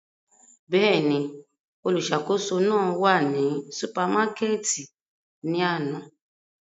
Bẹ́ẹ̀ni, oluṣakoso náà wa ni supamakẹti ni ana.